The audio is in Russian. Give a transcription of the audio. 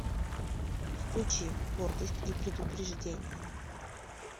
включи гордость и предубеждение